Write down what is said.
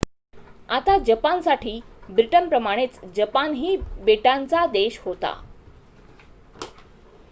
आता जपानसाठी ब्रिटनप्रमाणेच जपानही बेटाचा देश होता